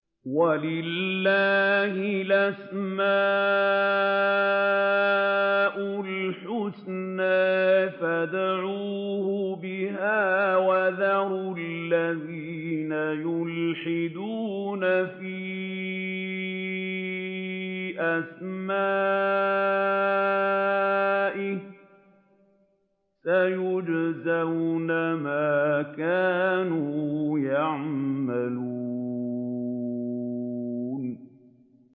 وَلِلَّهِ الْأَسْمَاءُ الْحُسْنَىٰ فَادْعُوهُ بِهَا ۖ وَذَرُوا الَّذِينَ يُلْحِدُونَ فِي أَسْمَائِهِ ۚ سَيُجْزَوْنَ مَا كَانُوا يَعْمَلُونَ